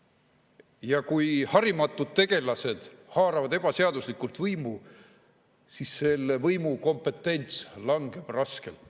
Ja kui harimatud tegelased haaravad ebaseaduslikult võimu, siis selle võimu kompetents langeb raskelt.